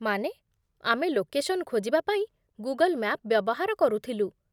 ମାନେ, ଆମେ ଲୋକେସନ୍ ଖୋଜିବା ପାଇଁ ଗୁଗଲ୍ ମ୍ୟାପ୍ ବ୍ୟବହାର କରୁଥିଲୁ ।